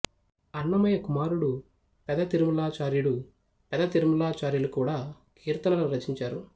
అన్నమయ్య కుమారుడు పెద తిరుమలాచార్యుడుపెద తిరుమలాచార్యులు కూడా కీర్తనలు రచించాడు